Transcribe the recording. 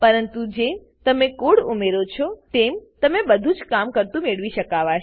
પરંતુ જેમ તમે કોડ ઉમેરો છો તેમ તમને બધુજ કામ કરતુ મેળવી શકાવાશે